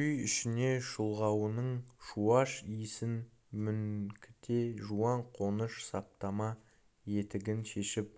үй ішіне шұлғауының шуаш иісін мүңкіте жуан қоныш саптама етігін шешіп